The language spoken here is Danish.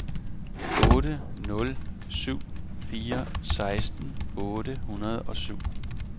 otte nul syv fire seksten otte hundrede og syv